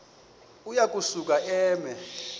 uya kusuka eme